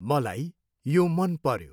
मलाई यो मन पऱ्यो।